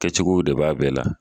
Kɛcogow de b'a bɛɛ la.